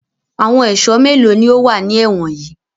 Àwọn ẹ̀sọ́ mélòó ni ó wà ní ẹ̀wọ̀n yìí?